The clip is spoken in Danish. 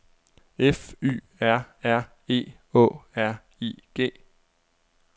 F Y R R E Å R I G